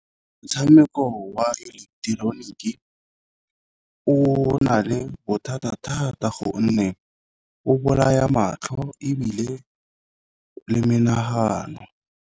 Motshameko wa eleketeroniki o na le bothata-thata gonne o bolaya matlho ebile le menagano.